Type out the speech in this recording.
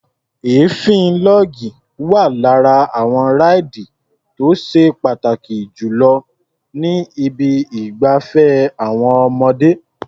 Èéfín log wá lára àwọn ráìdì tó ṣe pàtàkì jù lọ ní ibi ìgbafẹ́ àwọn ọmọdé.